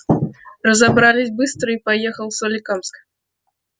разобрались быстро и поехал в соликамск